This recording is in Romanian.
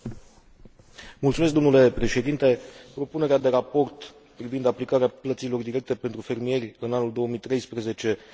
Propunerea de raport privind aplicarea plăților directe pentru fermieri în anul 2013 asigură cadrul legal necesar în acest moment.